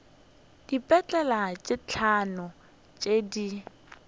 dipetale tše hlano tše di